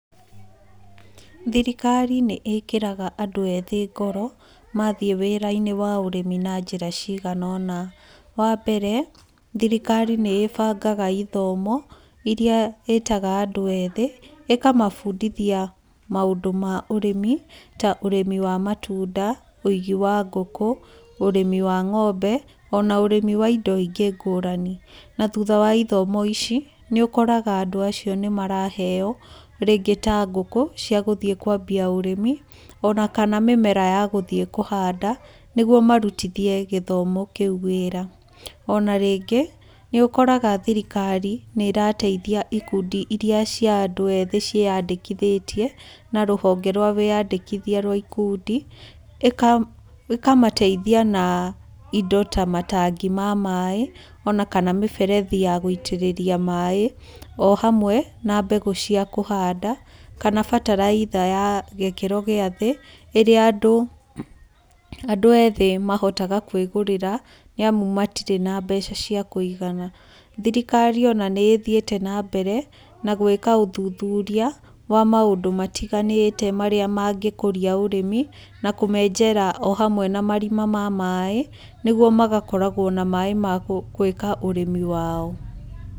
Thirikari nĩ ĩkĩraga andũ eethĩ ngoro, mathiĩ wĩra-inĩ wa ũrĩmi na njĩra cigana ũna. Wa mbere, thirikari nĩ ĩbangaga ithomo iria ĩĩtaga andũ eethĩ ĩkamabundithia maũndũ ma ũrĩmi ta ũrĩmi wa matunda, ũigi wa ngũkũ, ũrĩmi wa ng'ombe, ona ũrĩmi wa indo ingĩ ngũrani. Na thutha wa ithomo ici, Nĩ ũkoraga andũ acio nĩ maraheo rĩngĩ ta ngũkũ cia gũthiĩ kwambia ũrĩmi ona kana mĩmera ya gũthiĩ kũhanda nĩguo marutithie gĩthomo kĩu wĩra. Ona rĩngĩ nĩ ũkoraga thirikari nĩ ĩrateihia ikundi iria cia andũ ethĩ ciĩandĩkithĩtie na rũhonge rwa wĩandĩkithia rwa ikundi, ĩkamateithia na indo ta matangi ma maaĩ, ona kana mĩberethi ya gũitĩrĩria maaĩ o hamwe na mbegũ cia kũhanda, kana bataraitha ya gĩkĩro gĩa thĩ ĩrĩa andũ ethĩ mahotaga kwĩgũrĩra nĩ amu matirĩ na mbeca cia kũigana. Thirikari ona nĩ ĩthiĩte na mbere na gwĩka ũthuthuria wa maũndũ matiganĩte marĩa mangĩkũria ũrĩmi na kũmenjera o hamwe na marima ma maaĩ, nĩguo magakoragwo na maaĩ ma gwĩka ũrĩmi wao.